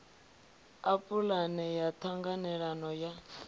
ḽa pulane ya ṱhanganelano ya